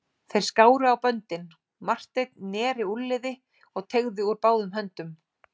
Þeir skáru á böndin, Marteinn neri úlnliði og teygði úr báðum höndum.